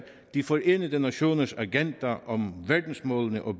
de forenede nationers agenda om verdensmålene og